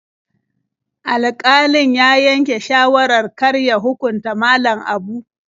Alƙalin ya yanke shawarar kar ya hukunta Malam Abu.